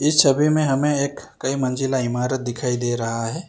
इस छवि में हमें एक कई मंजिला इमारत दिखाई दे रहा है।